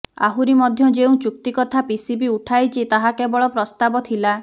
ଆହୁରି ମଧ୍ୟ ଯେଉଁ ଚୁକ୍ତି କଥା ପିସିବି ଉଠାଇଛି ତାହା କେବଳ ପ୍ରସ୍ତାବ ଥିଲା